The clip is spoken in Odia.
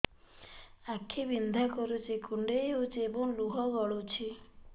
ଆଖି ବିନ୍ଧା କରୁଛି କୁଣ୍ଡେଇ ହେଉଛି ଏବଂ ଲୁହ ଗଳୁଛି